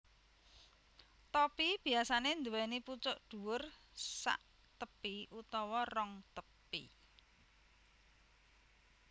Topi biyasanè nduwèni pucuk dhuwur saktepi utawa rong tepi